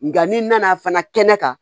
Nka n'i nana fana kɛnɛ kan